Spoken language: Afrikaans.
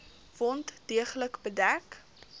wond deeglik bedek